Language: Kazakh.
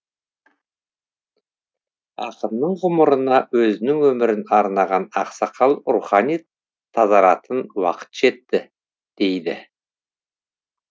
ақынның ғұмырына өзінің өмірін арнаған ақсақал рухани тазаратын уақыт жетті дейді